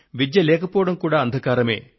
విద్య లేకపోవడం కూడా అంధకారమే